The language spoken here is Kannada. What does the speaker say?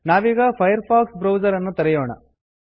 ನಾವೀಗ ಫೈರ್ಫಾಕ್ಸ್ ಬ್ರೌಸರ್ ಅನ್ನು ತೆರೆಯೋಣ